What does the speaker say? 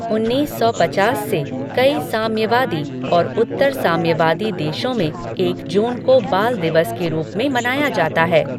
उन्नीस सौ पचास से, कई साम्यवादी और उत्तर साम्यवादी देशों में एक जून को बाल दिवस के रूप में मनाया जाता है।